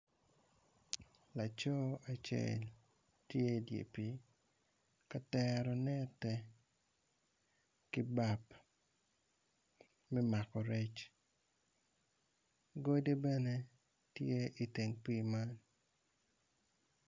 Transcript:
Laco acel tye i dyer pi katero nette ki bap me mako rec godi bene iteng pi man.